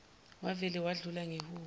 wavele wadlula ngehubo